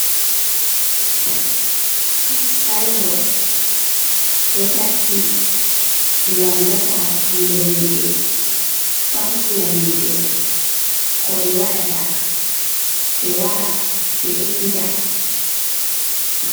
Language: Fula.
Sinbot do takki ngam dasa hakkilo himɓe famtina himɓe ko ɓe waɗata ɓe wara ɓe ekkita.